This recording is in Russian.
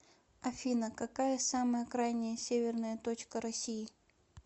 афина какая самая крайняя северная точка россии